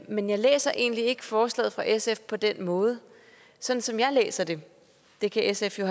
men jeg læser egentlig ikke forslaget fra sf på den måde sådan som jeg læser det det kan sf jo